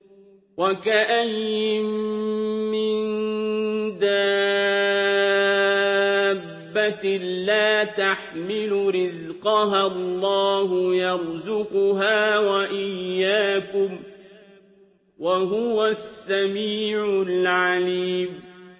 وَكَأَيِّن مِّن دَابَّةٍ لَّا تَحْمِلُ رِزْقَهَا اللَّهُ يَرْزُقُهَا وَإِيَّاكُمْ ۚ وَهُوَ السَّمِيعُ الْعَلِيمُ